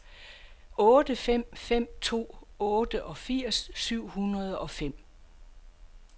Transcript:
otte fem fem to otteogfirs syv hundrede og fem